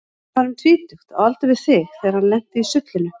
Hann var um tvítugt, á aldur við þig, þegar hann lenti í sullinu.